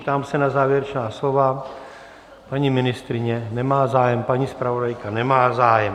Ptám se na závěrečná slova: paní ministryně nemá zájem, paní zpravodajka nemá zájem.